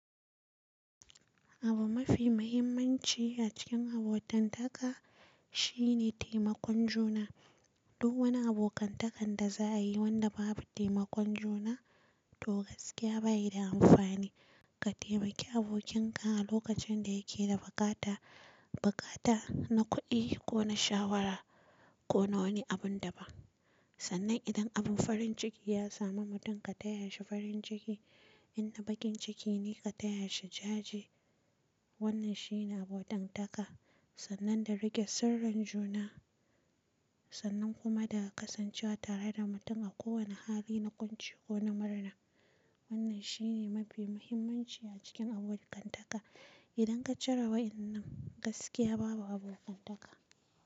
Abu mafi mahimmanci a cikin abotantaka shine taimakon juna. Duk wani abokantakan da za'a yi wanda babu taimakon juna, to gaskiya bayi da amfani. Ka taimaki abokin ka a lokacin da yake da buƙata, buƙata na kuɗi ko na shawara, ko na wani abun da ban Sannan idan abin farin ciki ya samu mutum ka taya shi farin ciki, In na baƙin ciki ne ka taya shi jaje, Wannan shine abotantaka, sannan da riƙe sirrin juna sannan kuma da ƙasancewa tare da mutum a kowane hali na ƙunci ko na murna. Wannan shine mafi muhimmanci a cikin abokantaka. Idan ka cire wa'innan gaskiya babu abokantaka.